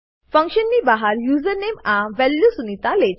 function ની બહાર user name આ વેલ્યુ સુનિતા